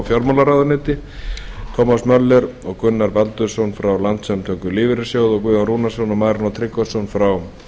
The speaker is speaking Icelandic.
fjármálaráðuneyti tómas möller og gunnar baldursson frá landssamtökum lífeyrissjóða og guðjón rúnarsson og marinó tryggvason frá